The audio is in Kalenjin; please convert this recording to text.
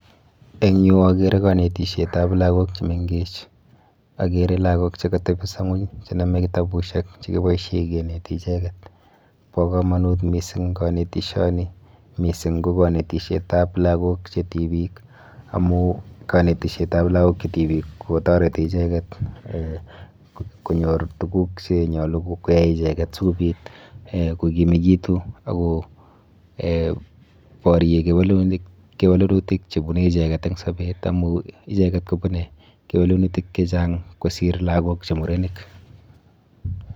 Eng yu akere kanetishetap lagok chemenkech. Akere lagok chekatepiso ng'ony chenome kitabushek chekiboishe keneti icheket. Bo komanut mising kanetishoni mising ko kanetishetap lagok che tibik amu kanetishetap lagok che tibik kotoreti icheket um konyor tuguk chenyolu koyai icheket sikobit um sikokimekitu ako um borye kewelenutik chebune icheket eng sobet amu icheket kobune kewelenutik chechang kosir lagok che murenik.